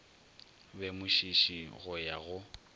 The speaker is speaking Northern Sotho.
be mošiši go ya go